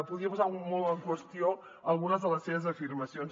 podria posar molt en qüestió algunes de les seves afirmacions